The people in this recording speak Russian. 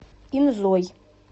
инзой